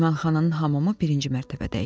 Mehmanxananın hamamı birinci mərtəbədə idi.